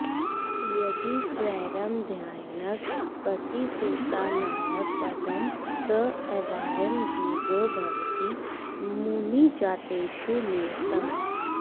यदि स्वैरं ध्यायन्नगपतिसुतानायकपदं स एवायं धुर्यो भवति मुनिजातेषु नियतम्